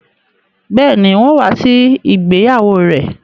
Bẹ́ẹ̀ni, n ó wá sí ìgbéyàwó rẹ